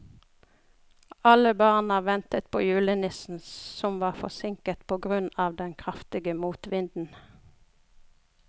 Alle barna ventet på julenissen, som var forsinket på grunn av den kraftige motvinden.